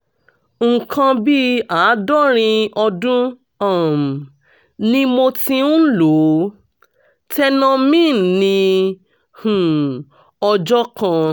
nǹkan bí àádọ́rin ọdún um ni mo ti ń lo tenormin ní um ọjọ́ kan